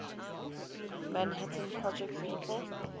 manhattan project people